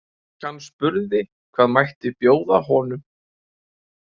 Stúlkan spurði hvað mætti bjóða honum.